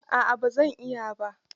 A'a ba zan iya ba.